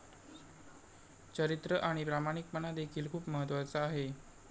चरित्र आणि प्रामाणिकपणा देखील खुप महत्त्वाचं आहे.